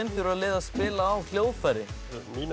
þurfa liðin að spila á hljóðfæri mín er